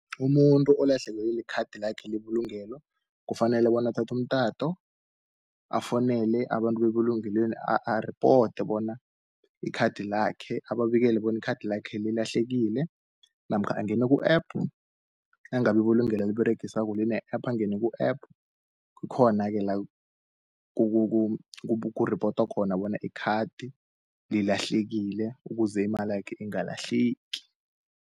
Umuntu olahlekelwe likhathi lakhe lebulungelo, kufanele bona athathu umtato afounele abantu bebulungelweni ari-ode bona ababikele bona ikhathi lakhe lilahlekile, namkha angene ku-App, nangabe ibulungelo aliberegisako line-App, angene ku-App kukhona-ke la, kuripotwa khona bona ikhathi lilahlekile ukuze imalakhe ingalahleki.